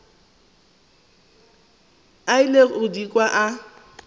ile go di kwa a